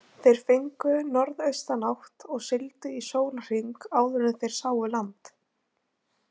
Þeir fengu norðaustanátt og sigldu í sólarhring áður en þeir sáu land.